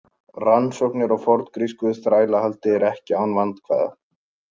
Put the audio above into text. Rannsóknir á forngrísku þrælahaldi eru ekki án vandkvæða.